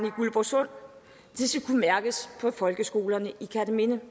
i guldborgsund det skal kunne mærkes på folkeskolerne i kerteminde